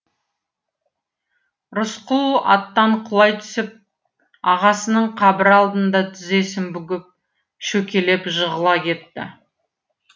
рысқұл аттан құлай түсіп ағасының қабірі алдында тізесін бүгіп шөкелеп жығыла кетті